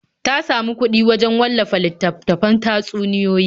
Ta samu kuɗi wajen wallafa littattafan tatsuniyoyi.